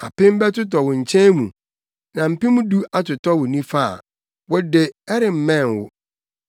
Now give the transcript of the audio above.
Apem bɛtotɔ wo nkyɛn mu, na mpem du atotɔ wo nifa a, wo de, ɛremmɛn wo.